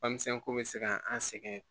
Bamuso bɛ se ka an sɛgɛn